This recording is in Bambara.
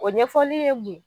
O ɲɛfɔli ye mun ye?